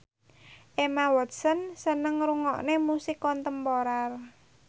Emma Watson seneng ngrungokne musik kontemporer